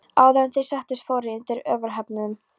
Áður en þeir settust fóru þeir úr yfirhöfnunum.